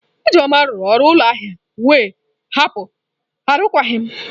Ijeoma rụrụ ọrụ ụlọ ahịa wee hapụ arụkwaghịm.